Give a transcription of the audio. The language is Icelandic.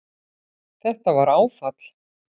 Þetta var áfall